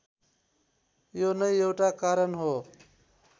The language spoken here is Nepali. यो नै एउटा कारण हो